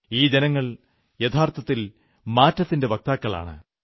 ഈ ജനങ്ങൾ യഥാർഥത്തിൽ മാറ്റത്തിന്റെ വക്താക്കളാണ്